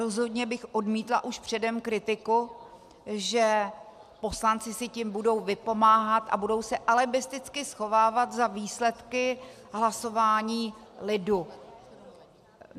Rozhodně bych odmítla už předem kritiku, že poslanci si tím budou vypomáhat a budou se alibisticky schovávat za výsledky hlasování lidu.